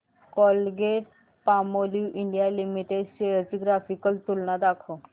Colgate Palmolive India limited shares ची graphical तुलना दाखव